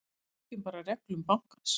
Við fylgjum bara reglum bankans.